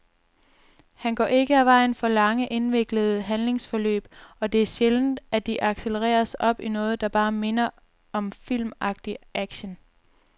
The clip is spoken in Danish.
Han går ikke af vejen for lange, indviklede handlingsforløb, og det er sjældent, at de accelereres op i noget, der bare minder om filmagtig action.